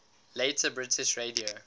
later british radio